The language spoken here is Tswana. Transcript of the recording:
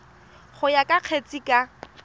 go ya ka kgetse ka